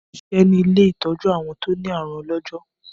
Mò ń ṣiṣẹ́ ní ilé ìtọ́jú àwọn tó ní àrùn ọlọ́jọ́.